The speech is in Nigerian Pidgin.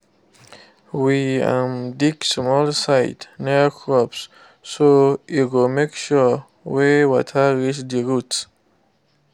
we um dig small side near crops so e go make sure way water reach the roots